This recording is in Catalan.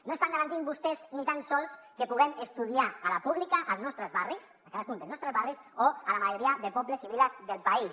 no estan garantint vostès ni tan sols que puguem estudiar a la pública als nostres barris a cadascun dels nostres barris o a la majoria de pobles i viles del país